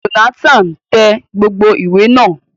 Jonathan tẹ gbogbo ìwé náà.